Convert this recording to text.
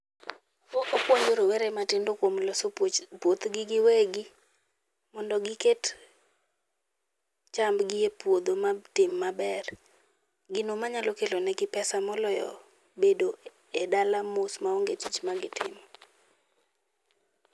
Opuonjo rowere matindo kuom loso puothgi giwegi. Mondo giket chamb gi epuodho ma tim maber. Gino ma nyalo kelonigi pesa maloyo bedo e dala mos maonge tich ma gitimo.